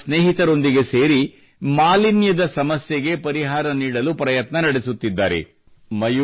ಅವರು ತಮ್ಮ ಸ್ನೇಹಿತರೊಂದಿಗೆ ಸೇರಿ ಮಾಲಿನ್ಯದ ಸಮಸ್ಯೆಗೆ ಪರಿಹಾರ ನೀಡಲು ಪ್ರಯತ್ನ ನಡೆಸುತ್ತಿದ್ದಾರೆ